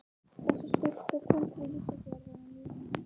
Þessi stúlka kom til Ísafjarðar á mínum vegum.